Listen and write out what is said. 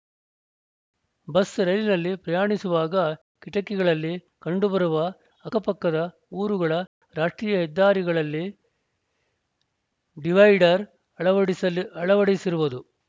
bus ರೈಲಿನಲ್ಲಿ ಪ್ರಯಾಣಿಸುವಾಗ ಕಿಟಕಿಗಳಲ್ಲಿ ಕಂಡುಬರುವ ಅಕ್ಕಪಕ್ಕದ ಊರುಗಳ ರಾಷ್ಟ್ರೀಯ ಹೆದ್ದಾರಿಗಳಲ್ಲಿ ಡಿವೈಡರ್‌ ಅಳವಡಿಸಲಿ ಅಳವಡಿಸಿರುವುದು